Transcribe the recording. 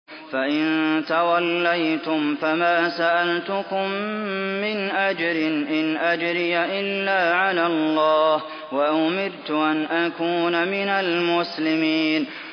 فَإِن تَوَلَّيْتُمْ فَمَا سَأَلْتُكُم مِّنْ أَجْرٍ ۖ إِنْ أَجْرِيَ إِلَّا عَلَى اللَّهِ ۖ وَأُمِرْتُ أَنْ أَكُونَ مِنَ الْمُسْلِمِينَ